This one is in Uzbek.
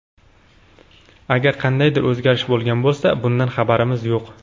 Agar qandaydir o‘zgarish bo‘lgan bo‘lsa bundan xabarimiz yo‘q.